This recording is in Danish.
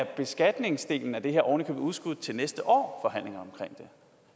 beskatningsdelen af det her ovenikøbet udskudt til næste år